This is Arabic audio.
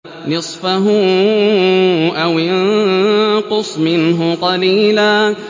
نِّصْفَهُ أَوِ انقُصْ مِنْهُ قَلِيلًا